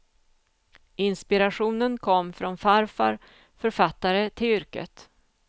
Inspirationen kom från farfar, författare till yrket.